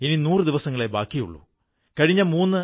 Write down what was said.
നർമ്മദേ സിന്ധു കാവേരി ജലേസ്മിൻ സന്നിധിം കുരു